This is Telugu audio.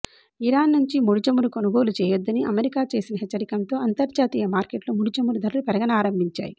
ఇరాన్ నుంచి ముడి చమురు కొనుగోలు చేయొద్దని అమెరికా చేసిన హెచ్చరికంతో అంతర్జాతీయ మార్కెట్లో ముడి చమురు ధరలు పెరగనారంభించాయి